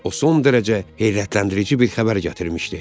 O son dərəcə heyrətləndirici bir xəbər gətirmişdi.